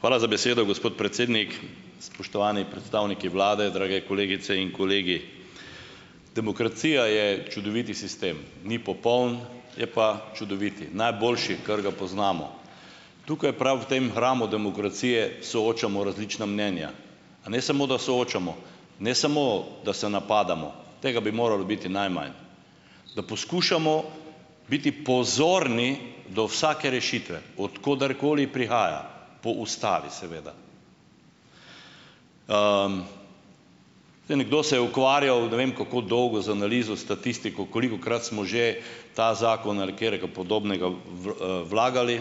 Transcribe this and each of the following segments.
Hvala za besedo, gospod predsednik. Spoštovani predstavniki Vlade, drage kolegice in kolegi. Demokracija je čudovit sistem. Ni popoln, je pa čudovit, najboljši, kar ga poznamo. Tukaj prav v tem hramu demokracije soočamo različna mnenja. A ne samo, da soočamo, ne samo, da se napadamo, tega bi moralo biti najmanj, da poskušamo biti pozorni do vsake rešitve, od koderkoli prihaja, po Ustavi seveda. Zdaj nekdo se je ukvarjal ne vem kako dolgo z analizo, statistiko, kolikokrat smo že ta zakon ali katerega podobnega vlagali.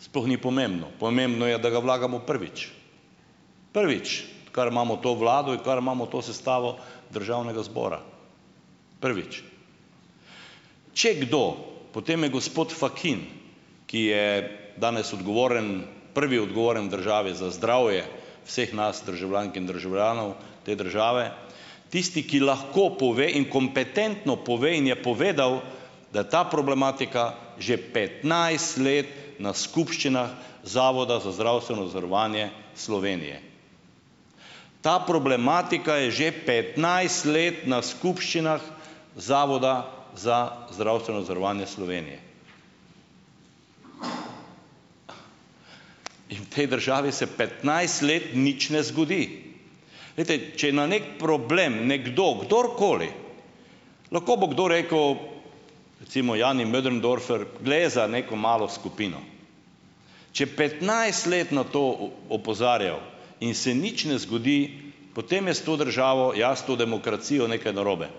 Sploh ni pomembno. Pomembno je, da ga vlagamo prvič, prvič, odkar imamo to Vlado, odkar imamo to sestavo Državnega zbora, prvič. Če kdo, potem je gospod Fakin, ki je danes odgovoren, prvi odgovoren državi za zdravje vseh nas državljank in državljanov te države, tisti, ki lahko pove in kompetentno pove in je povedal, da ta problematika že petnajst let na skupščinah Zavoda za zdravstveno zavarovanje Slovenije. Ta problematika je že petnajst let na skupščinah Zavoda za zdravstveno zavarovanje Slovenije. In tej državi se petnajst let nič ne zgodi. Glejte, če je na neki problem nekdo, kdorkoli, lahko bo kdo rekel, recimo Jani Möderndorfer, gre za neko malo skupino. Če petnajst let na to opozarjal in se nič ne zgodi, potem je s to državo, jasno demokracijo, nekaj narobe.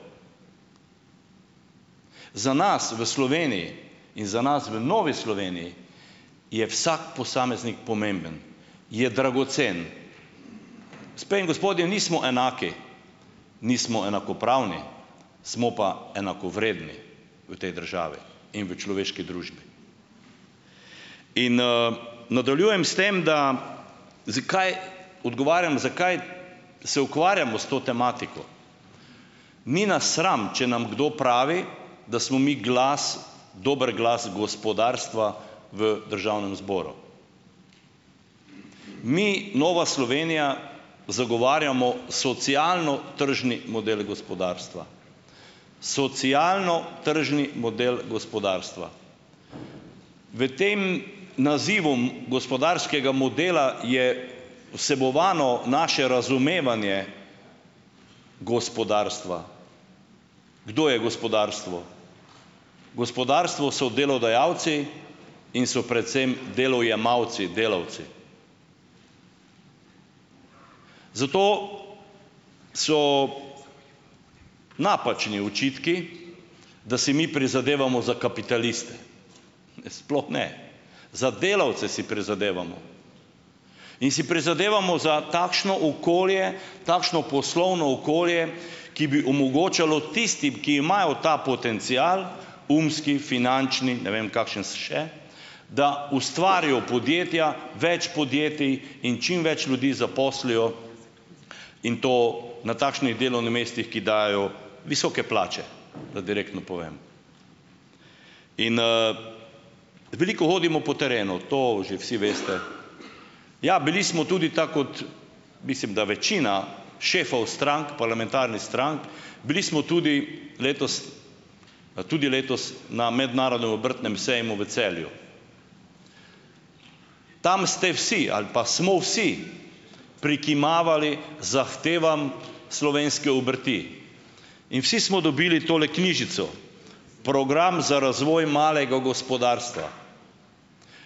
Za nas v Sloveniji in za nas v Novi Sloveniji je vsak posameznik pomemben. Je dragocen. in gospodje, nismo enaki. Nismo enakopravni. Smo pa enakovredni v tej državi in v človeški družbi. Nadaljujem s tem, da zakaj odgovarjam, zakaj se ukvarjamo s to tematiko. Ni nas sram, če nam kdo pravi, da smo mi glas, dobro, glas gospodarstva v Državnem zboru. Mi, Nova Slovenija, zagovarjamo socialno-tržni model gospodarstva. Socialno-tržni model gospodarstva. V tem nazivu gospodarskega modela je vsebovano naše razumevanje gospodarstva. Kdo je gospodarstvo? Gospodarstvo so delodajalci in so predvsem delojemalci, delavci. Zato so napačni očitki, da si mi prizadevamo za kapitaliste. Sploh ne, za delavce si prizadevamo. In si prizadevamo za takšno okolje, takšno poslovno okolje, ki bi omogočalo tistim, ki imajo ta potencial, umski, finančni, ne vem kakšen še, da ustvarijo podjetja, več podjetij in čim več ljudi zaposlijo in to na takšnih delovnih mestih, ki dajejo visoke plače, da direktno povem. Veliko hodimo po terenu, to že vsi veste. Ja, bili smo tudi ta, kot mislim, da večina šefov strank, parlamentarni strank, bili smo tudi letos tudi letos na Mednarodnem obrtnem sejmu v Celju. Tam ste vsi, ali pa smo vsi, prikimavali zahtevam slovenske obrti in vsi smo dobili tole knjižico: Program za razvoj malega gospodarstva.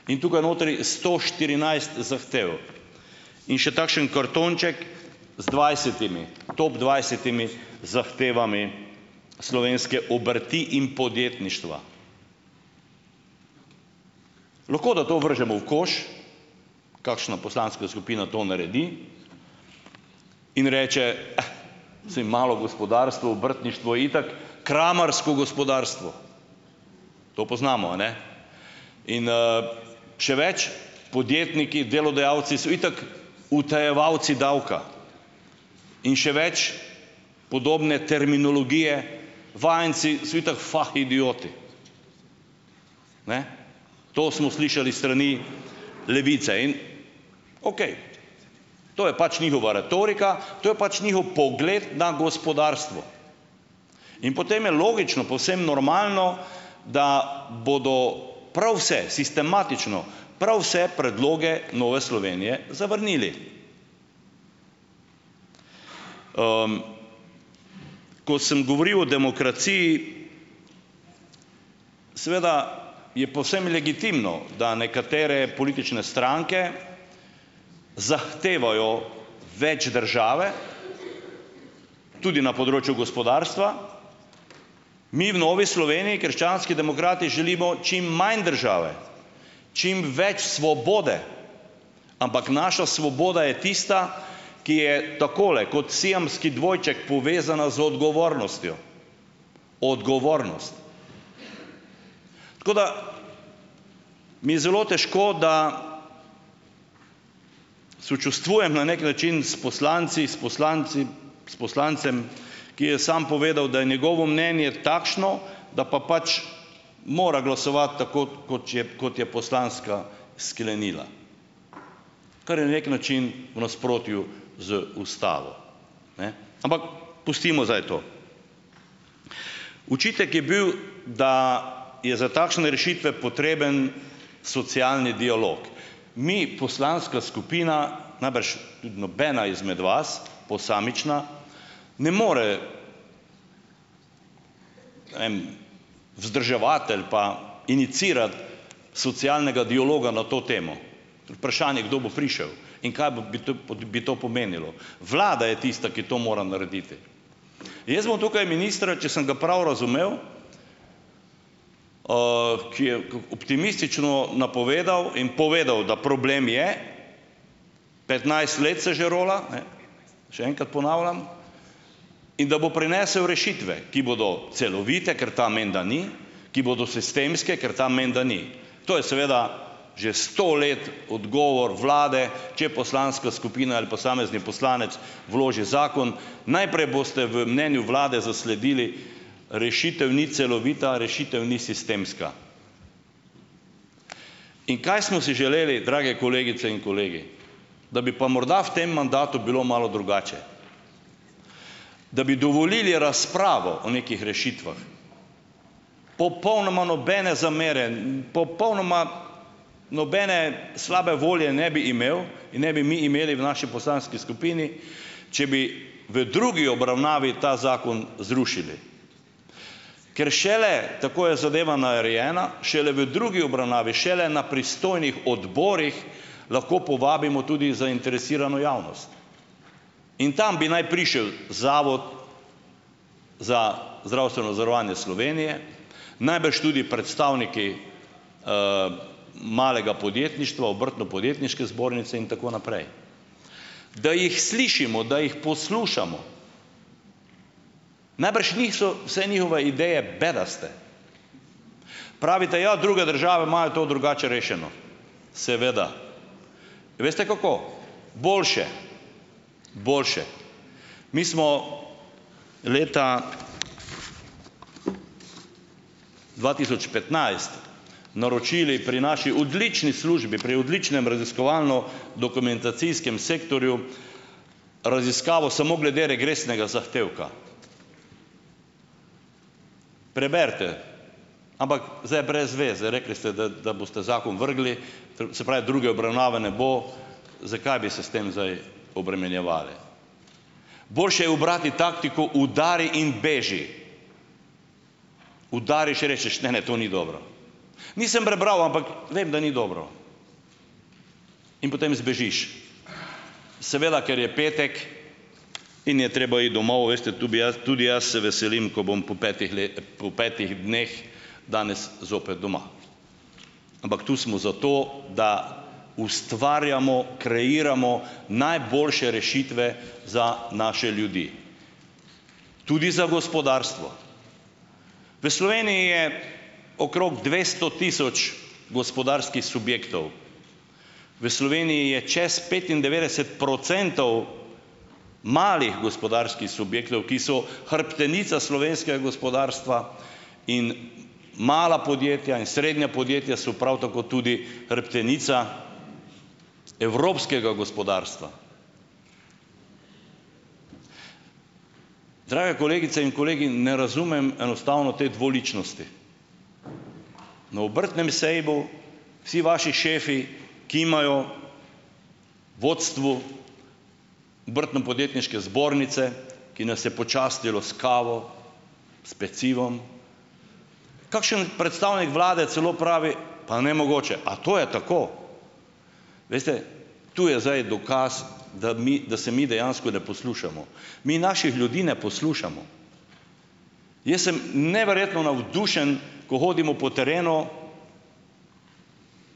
In tukaj notri sto štirinajst zahtev. In še takšen kartonček z dvajsetimi, top dvajsetimi zahtevami slovenske obrti in podjetništva. Lahko, da to vržemo v koš, kakšna poslanska skupina to naredi in reče, saj malo gospodarstvo, obrtniško itak kramarsko gospodarstvo. To poznamo, a ne? In še več: podjetniki, delodajalci so itak utajevalci davka. In še več: podobne terminologije, vajenci so itak fahidioti. To smo slišali s strani Levice. In okej, to je pač njihova retorika, to je pač njihov pogled na gospodarstvo in potem je logično, povsem normalno, da bodo prav vse sistematično, prav vse predloge Nove Slovenije zavrnili. Ko sem govoril o demokraciji, seveda je povsem legitimno, da nekatere politične stranke zahtevajo več države, tudi na področju gospodarstva, mi v Novi Sloveniji, krščanski demokrati, želimo čim manj države. Čim več svobode. Ampak naša svoboda je tista, ki je takole, kot siamski dvojček povezana z odgovornostjo. Odgovornost. Tako da mi je zelo težko, da sočustvujem na neki način s poslanci, s poslanci s poslancem, ki je sam povedal, da je njegovo mnenje takšno, da pa pač mora glasovati tako, koč je, kot je poslanska sklenila, kar je na neki način v nasprotju z Ustavo. Ne, ampak pustimo zdaj to. Očitek je bil, da je za takšne rešitve potreben socialni dialog. Mi, poslanska skupina, najbrž tudi nobena izmed vas posamična, ne more vzdrževati ali pa iniciirati socialnega dialoga na to temo. Vprašanje, kdo bo prišel in kaj bi bi bi to pomenilo. Vlada je tista, ki to mora narediti. Jaz bom tukaj ministra, če sem ga pral razumel, ki je optimistično napovedal in povedal, da problem je, petnajst let se že rola, ne še enkrat ponavljam, in da bo prinesel rešitve, ki bodo celovite, ker ta menda ni, ki bodo sistemske, ker ta menda ni. To je seveda že sto let odgovor Vlade, če poslanska skupina ali posamezni poslanec vloži zakon, najprej boste v mnenju Vlade zasledili: rešitev ni celovita, rešitev ni sistemska. In kaj smo si želeli, drage kolegice in kolegi, da bi pa morda v tem mandatu bilo malo drugače. Da bi dovolili razpravo o nekih rešitvah. Popolnoma nobene zamere, popolnoma nobene slabe volje ne bi imel in ne bi mi imeli v naši poslanski skupini, če bi v drugi obravnavi ta zakon zrušili. Ker šele tako je zadeva narejena šele v drugi obravnavi, šele na pristojnih odborih lahko povabimo tudi zainteresirano javnost. In tam bi naj prišel Zavod za zdravstveno zavarovanje Slovenije, najbrž tudi predstavniki malega podjetništva, Obrtno-podjetniške zbornice in tako naprej. Da jih slišimo, da jih poslušamo. Najbrž niso vse njihove ideje bedaste. Pravite, ja, druge države imajo to drugače rešeno. Seveda, veste, kako? Boljše! Boljše. Mi smo leta dva tisoč petnajst naročili pri naši odlični službi, pri odličnem raziskovalno- dokumentacijskem sektorju, raziskavo samo glede regresnega zahtevka. Preberite. Ampak zdaj je brez veze, rekli ste, da da boste zakon vrgli, se pravi, druge obravnave ne bo, zakaj bi se s tem zdaj obremenjevali. Boljše je ubrati taktiko udari in beži, udariš rečeš, ne, ne, to ni dobro, nisem prebral, ampak vem, da ni dobro. In potem zbežiš. Seveda, ker je petek in je treba iti domov, veste, tu bi jaz tudi jaz se veselim, ko bom po petih po petih dneh danes zopet doma. Ampak tu smo zato, da ustvarjamo, kreiramo najboljše rešitve za naše ljudi, tudi za gospodarstvo. V Sloveniji je okrog dvesto tisoč gospodarskih subjektov, v Sloveniji je čez petindevetdeset procentov malih gospodarskih subjektov, ki so hrbtenica slovenskega gospodarstva. In mala podjetja in srednja podjetja so prav tako tudi hrbtenica evropskega gospodarstva. Drage kolegice in kolegi, ne razumem enostavno te dvoličnosti, na obrtnem sejmu vsi vaši šefi kimajo vodstvu Obrtno-podjetniške zbornice, ki nas je počastilo s kavo, s pecivom. Kakšen predstavnik Vlade celo pravi: "Pa nemogoče, a to je tako?" Veste, tu je zdaj dokaz, da mi, da se mi dejansko ne poslušamo. Mi naših ljudi ne poslušamo. Jaz sem neverjetno navdušen, ko hodimo po terenu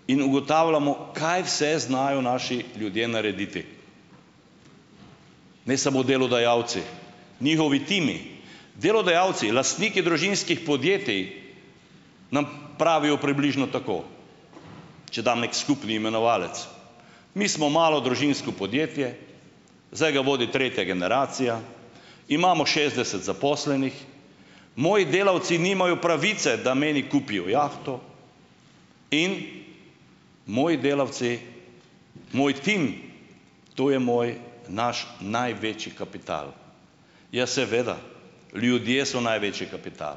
in ugotavljamo, kaj vse znajo naši ljudje narediti. Ne samo delodajalci, njihovi timi, delodajalci, lastniki družinskih podjetij nam pravijo približno tako, če dam neki skupni imenovalec: "Mi smo malo družinsko podjetje, zdaj ga vodi tretja generacija. Imamo šestdeset zaposlenih, moji delavci nimajo pravice, da meni kupijo jahto, in moji delavci, moj tim, to je moj, naš največji kapital. Ja, seveda, ljudje so največji kapital."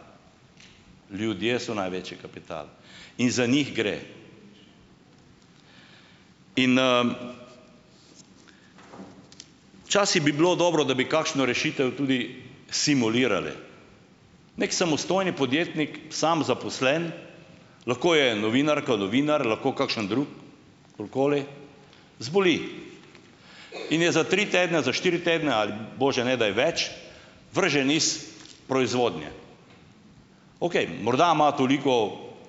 Ljudje so največji kapital in za njih gre. Včasih bi bilo dobro, da bi kakšno rešitev tudi simulirali. Neki samostojni podjetnik, sam zaposlen, lahko je novinarka, novinar, lahko kakšen zboli in je za tri, tedne za štiri tedne ali bože ne daj več vržen iz proizvodnje, okej, morda ima toliko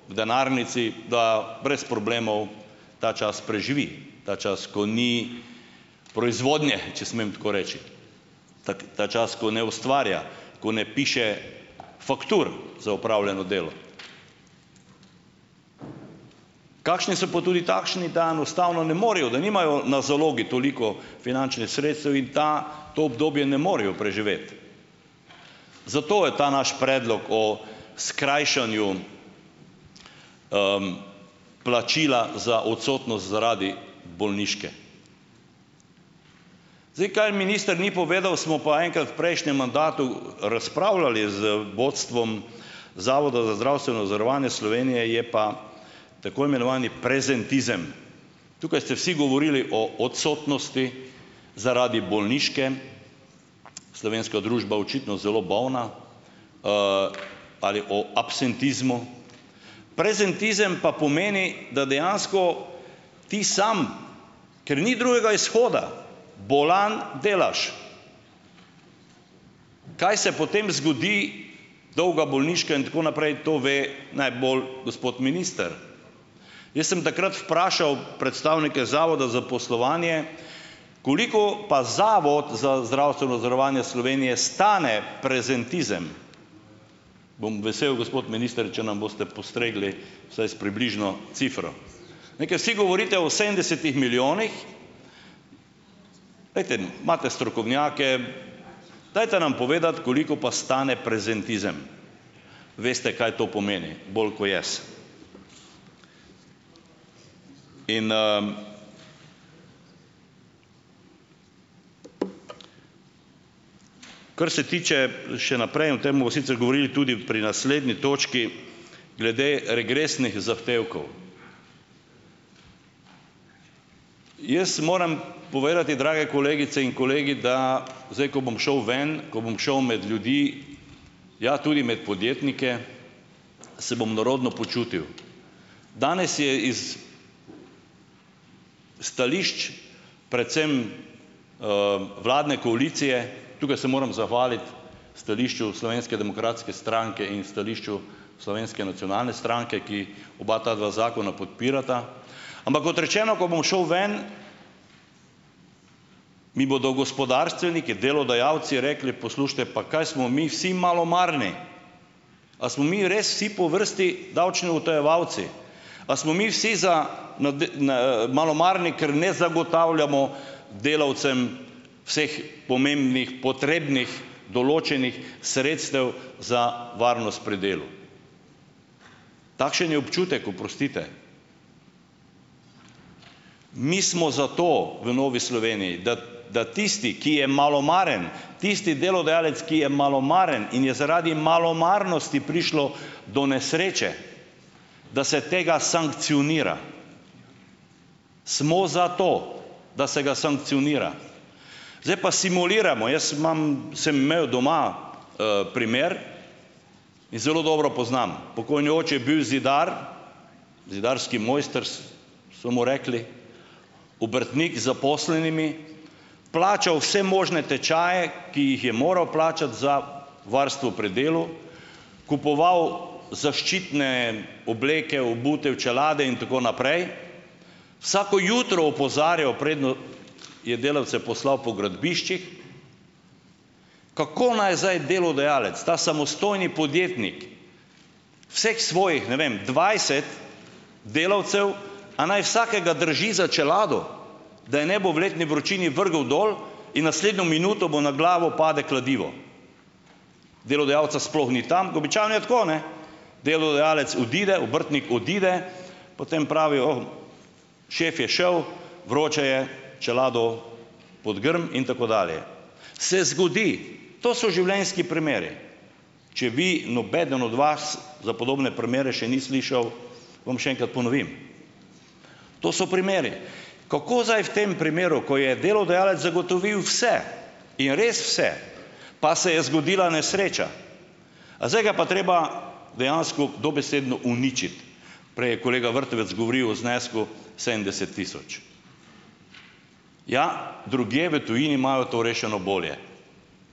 v denarnici, da brez problemov ta čas preživi, ta čas, ko ni proizvodnje, če smem tako reči. Tako ta čas, ko ne ustvarja, ko ne piše faktur za opravljeno delo. Kakšni so po tudi takšni, da enostavno ne morejo, da nimajo na zalogi toliko finančnih sredstev in ta to obdobje ne morejo preživeti. Zato je ta naš predlog o skrajšanju plačila za odsotnost zaradi bolniške. Zdaj, kaj minister ni povedal, smo pa enkrat prejšnjem mandatu razpravljali z vodstvom Zavoda za zdravstveno zavarovanje Slovenije, je pa, tako imenovani, prezentizem. Tukaj ste vsi govorili o odsotnosti zaradi bolniške, slovenska družba očitno zelo bolna, ali o absentizmu. Prezentizem pa pomeni, da dejansko ti samo, ker ni drugega izhoda, bolan delaš. Kaj se potem zgodi, dolga bolniška in tako naprej, to ve najbolj gospod minister. Jaz sem takrat vprašal predstavnike Zavoda za zaposlovanje, koliko pa Zavod za zdravstveno zavarovanje Slovenije stane prezentizem? Bom vesel, gospod minister, če nam boste postregli vsaj s približno cifro. Ne, ker vsi govorite o sedemdesetih milijonih, glejte, imate strokovnjake, dajte nam povedati, koliko pa stane prezentizem. Veste, kaj to pomeni, bolj kot jaz. Kar se tiče še naprej, o tem bomo sicer govorili tudi pri naslednji točki, glede regresnih zahtevkov. Jaz moram povedati, drage kolegice in kolegi, da zdaj, ko bom šel ven, ko bom šel med ljudi, ja, tudi med podjetnike, se bom nerodno počutil. Danes je iz stališč, predvsem vladne koalicije, tukaj se moram zahvaliti stališču Slovenske demokratske stranke in stališču Slovenske nacionalne stranke, ki oba ta dva zakona podpirata, ampak kot rečeno, ko bom šel ven, mi bodo gospodarstveniki, delodajalci rekli, poslušajte, pa kaj smo mi vsi malomarni? A smo mi res si po vrsti davčni utajevalci? A smo mi vsi za na malomarni, ker ne zagotavljamo delavcem vseh pomembnih, potrebnih, določenih sredstev za varnost pri delu? Takšen je občutek, oprostite. Mi smo zato v Novi Sloveniji, da da tisti, ki je malomaren, tisti delodajalec, ki je malomaren in je zaradi malomarnosti prišlo do nesreče, da se tega sankcionira. Smo za to, da se ga sankcionira. Zdaj pa simuliramo, jaz imam, sem imel doma primer in zelo dobro poznam. Pokojni oče je bil zidar, zidarski mojster so mu rekli, obrtnik zaposlenimi plačal vse možne tečaje, ki jih je moral plačati za varstvo pri delu, kupoval zaščitne obleke, obutev, čelade in tako naprej. Vsako jutro opozarjali, preden je delavce poslal po gradbiščih, kako naj zdaj delodajalec, ta samostojni podjetnik, vseh svojih, ne vem, dvajset delavcev, a naj vsakega drži za čelado, da je ne bo v letni vročini vrgel dol in naslednjo minuto bo na glavo pade kladivo? Delodajalca sploh ni tam, običajno je tako, ne, delodajalec odide, obrtnik odide, potem pravijo, šef je šel, vroče je, čelado pod grm in tako dalje. Se zgodi. To so življenjski primeri. Če vi, nobeden od vas, za podobne prmere še ni slišal, vam še enkrat ponovim. To so primeri. Kako zdaj v tem primeru, ko je delodajalec zagotovil vse in res vse, pa se je zgodila nesreča. A zdaj ga pa treba dejansko dobesedno uničiti. Prej je kolega Vrtovec govoril o znesku sedemdeset tisoč. Ja, drugje v tujini imajo to rešeno bolje.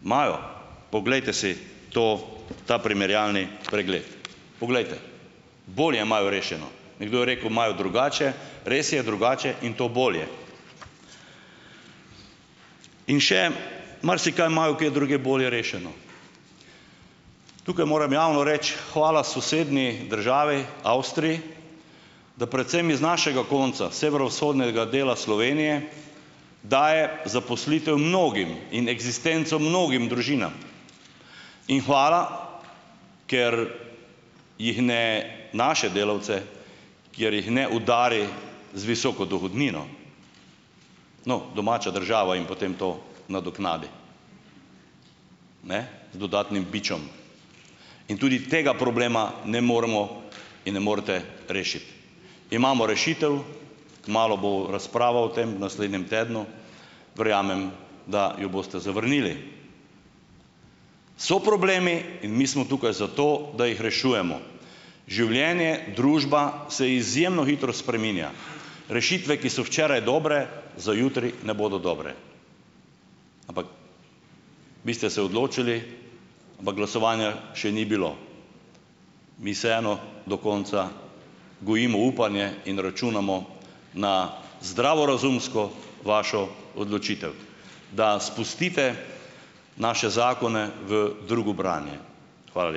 Imajo, poglejte si to ta primerjalni pregled. Poglejte, bolje imajo rešeno. Nekdo je rekel, imajo drugače. Res je drugače in to bolje. In še marsikaj imajo kje drugje bolje rešeno. Tukaj moram javno reči, hvala sosednji državi Avstriji, da predvsem iz našega konca, severovzhodnega dela Slovenije, daje zaposlitev mnogim in eksistenco mnogim družinam. In hvala, ker jih ne, naše delavce, kjer jih ne udari z visoko dohodnino. No, domača država jim potem to nadoknadi ne, z dodatnim bičem. In tudi tega problema ne moremo in ne morete rešiti. Imamo rešitev, kmalu bo razprava o tem, naslednjem tednu. Verjamem, da jo boste zavrnili. So problemi in mi smo tukaj zato, da jih rešujemo. Življenje, družba se izjemno hitro spreminja. Rešitve, ki so včeraj dobre, za jutri ne bodo dobre. Vi ste se odločili, ampak glasovanja še ni bilo. Mi vseeno do konca gojimo upanje in računamo na zdravorazumsko vašo odločitev, da spustite naše zakone v drugo branje. Hvala lepa.